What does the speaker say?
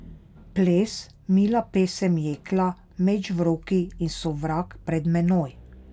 Ples, mila pesem jekla, meč v roki in sovrag pred menoj.